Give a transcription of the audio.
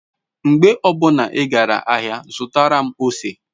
Mgbe obuna I gara ahia zutara m ose